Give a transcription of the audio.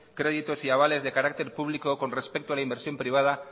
crédito y avales de carácter público con respeto a la inversión privada